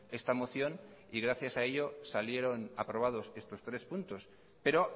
esta moción y gracias a ello salieron aprobados estos tres puntos pero